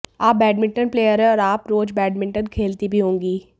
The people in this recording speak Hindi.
आप बैडमिंटन प्लेयर हैं और आप रोज बैडमिंटन खेलती भी होंगी